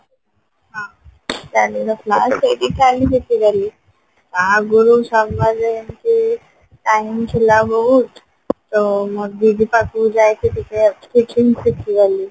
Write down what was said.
ହଁ tally ର class ସେଇଠି tally ଆଗରୁ summer ରେ ଏମିତି time ଥିଲା ବହୁତ ତ ମୋ ଦିଦି ପାଖକୁ ଯାଇକି ଟିକେ cooking ଶିଖିଗଲି